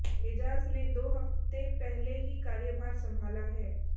एजाज ने दो हफ्ते पहले ही कार्यभार संभाला है